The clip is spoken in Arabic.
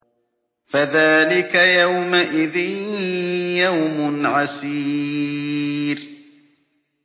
فَذَٰلِكَ يَوْمَئِذٍ يَوْمٌ عَسِيرٌ